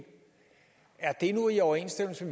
er det nu i overensstemmelse